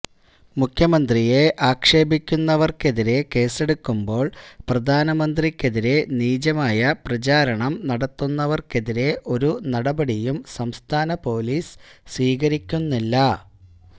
മുഖ്യമന്ത്രിയെ ആക്ഷേപിക്കുന്നവര്ക്കെതിരെ കേസ്സെടുക്കുമ്പോള് പ്രധാനമന്ത്രിക്കെതിരെ നീചമായ പ്രചാരണം നടത്തുന്നവര്ക്കെതിരെ ഒരു നടപടിയും സംസ്ഥാന പൊലീസ് സ്വീകരിക്കുന്നില്ല